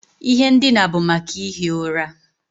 Ihe ndina bụ maka ihi ụra.